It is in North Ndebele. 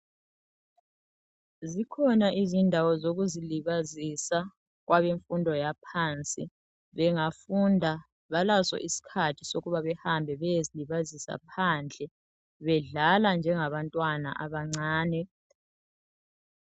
zikhona izindawo zokuzi libazisa kwabemfundo yaphansi bengafunda balaso isikhathi sokuba behambe beyezilibazisa phandle bengadlala njengabantwana abancane